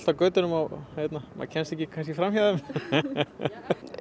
götunum og maður kemst ekki fram hjá þeim